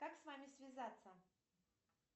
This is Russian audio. как с вами связаться